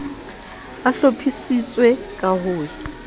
a hlophisitswe ka ho ya